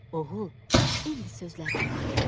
Oğul, indi sözlərimə qulaq as.